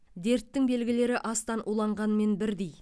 дерттің белгілері астан уланғанмен бірдей